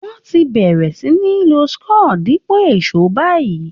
Wọ́n ti bẹ̀rẹ̀ sí ní lo screw dípò èṣó báyìi